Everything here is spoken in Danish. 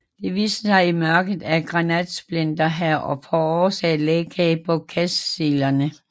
Det viste sig i mørket at granatsplinter havde forårsaget lækage på gascellerne